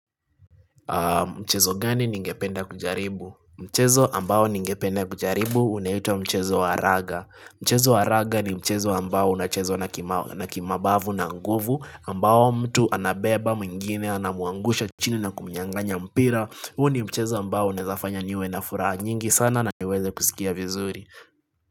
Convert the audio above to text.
Mchezo gani ningependa kujaribu? Mchezo ambao ningependa kujaribu unaitwa mchezo waraga. Mchezo waraga ni mchezo ambao unachezwa na kimabavu na nguvu, ambao mtu anabeba mwingine, anamuangusha chini na kumnyanganya mpira. Huo ni mchezo ambao unaezafanya niwe na furaa nyingi sana na niweze kusikia vizuri.